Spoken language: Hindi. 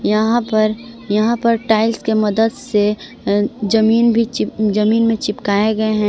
यहां पर यहां पर टाइल्स के मदद से जमीन भी जमीन में चिपकाए गए हैं।